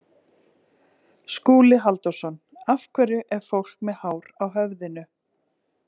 Skúli Halldórsson: Af hverju er fólk með hár á höfðinu?